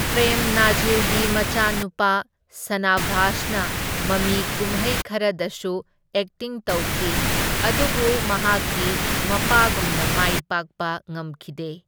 ꯄ꯭ꯔꯦꯝ ꯅꯥꯖꯤꯔꯒꯤ ꯃꯆꯥꯅꯨꯄꯥ ꯁꯅꯥꯚꯥꯁꯅ ꯃꯃꯤ ꯀꯨꯝꯍꯩ ꯈꯔꯗꯁꯨ ꯑꯦꯛꯇꯤꯡ ꯇꯧꯈꯤ, ꯑꯗꯨꯕꯨ ꯃꯍꯥꯛꯀꯤ ꯃꯄꯥꯒꯨꯝꯅ ꯃꯥꯏ ꯄꯥꯛꯄ ꯉꯝꯈꯤꯗꯦ꯫